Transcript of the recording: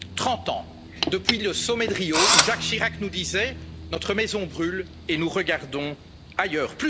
limite trente ans depuis le sommet de Rio, où Jacques Chirac nous disait notre maison brûle et nous regardons ailleurs